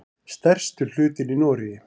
Stærstur hlutinn í Noregi.